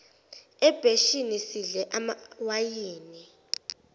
ebheshini sidle amawayini